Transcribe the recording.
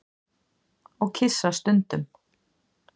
Og kyssast stundum.